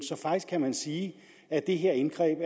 så faktisk kan man sige at det her indgreb